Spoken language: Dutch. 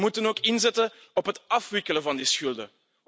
We moeten ook inzetten op het afwikkelen van de schulden.